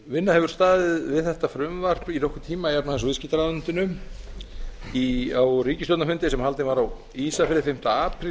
vinna hefur staðið við þetta frumvarp í nokkurn tíma í efnahags og viðskiptaráðuneytinu á ríkisstjórnarfundi sem haldinn var á ísafirði fimmti apríl